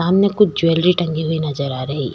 कुछ ज्वेलरी टंगी हुई नजर आ रही।